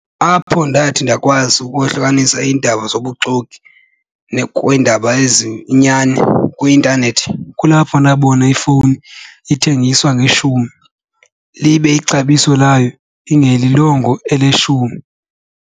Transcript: Apho ndathi ndakwazi ukohlukanisa iindaba zobuxoki kwiindaba eziyinyani kwi-intanethi kulapho ndabona ifowuni ithengiswa ngeshumi libe ixabiso layo ingelilongo elishumi.